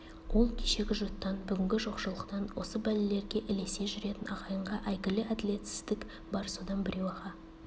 ол кешегі жұттан бүгінгі жоқшылықтан осы бәлелерге ілесе жүретін ағайынға әйгілі әділетсіздік бар содан біреу аға